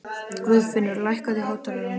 Guðfinnur, lækkaðu í hátalaranum.